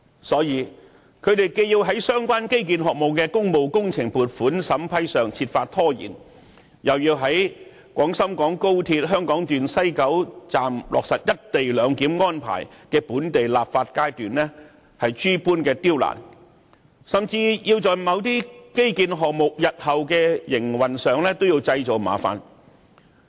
所以，他們既要在相關基建項目的工務工程撥款審批上設法拖延，又要在廣深港高鐵香港段西九龍站落實"一地兩檢"安排的本地立法階段諸多刁難，甚至在某些基建項目日後的營運上製造麻煩。